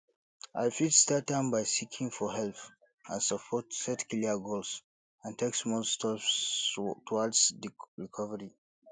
i fit start am by seeking for help and support set clear goals and take small steps towards di recovery